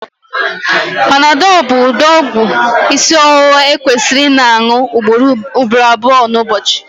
panadol bụ ụdị ọgwụ isi ọwụwa ekwesịrị ịna añu ugboro abụọ n'ụbọchị